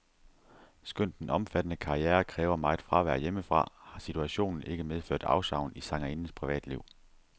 Skønt den omfattende karriere kræver meget fravær hjemmefra, har situationen ikke medført afsavn i sangerindens privatliv.